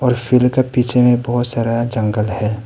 और फूलों के पीछे में बहुत सारा जंगल है।